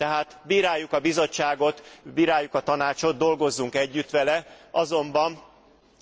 Tehát bíráljuk a Bizottságot, bíráljuk a Tanácsot, dolgozzunk együtt vele, azonban